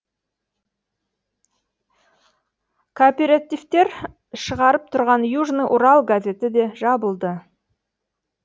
кооперативтер шығарып тұрған южный урал газеті де жабылды